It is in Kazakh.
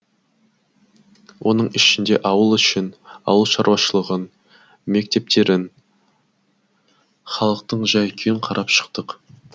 оның ішінде ауыл ішін ауыл шаруашылығын мектептерін халықтың жай күйін қарап шықтық